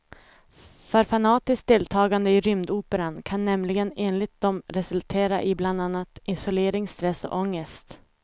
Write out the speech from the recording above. För fanatiskt deltagande i rymdoperan kan nämligen enligt dem resultera i bland annat isolering, stress och ångest.